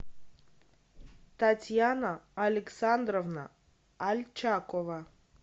татьяна александровна альчакова